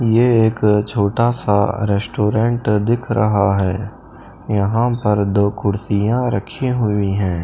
यह एक छोटा सा रेस्टोरेंट दिख रहा है यहां पर दो कुर्सियां रखी हुई है।